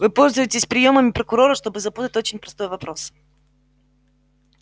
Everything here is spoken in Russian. вы пользуетесь приёмами прокурора чтобы запутать очень простой вопрос